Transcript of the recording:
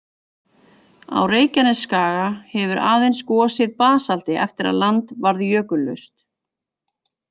Á Reykjanesskaga hefur aðeins gosið basalti eftir að land varð jökullaust.